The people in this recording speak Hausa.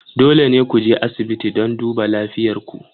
Dole ne ku je asibiti don duba lafiyar ku.